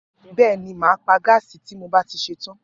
Bẹ̀ẹ́ni, màá pa gààsí ti mó bá ti sétàn.